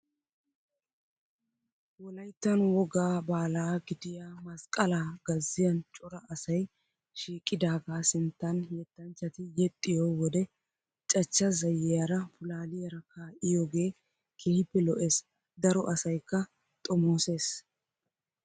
Wolyittan wogga baala gidiyaa masqqalaa gazziiyan cora asayi shiiqidaagaa sinttan yettanchchati yexxiyoo wode cachcha zayiyaara pulaaliyaara kaa''iyoogee keehippe lo''es. Daro asayikka xomooses.